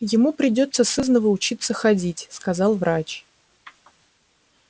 ему придётся сызнова учиться ходить сказал врач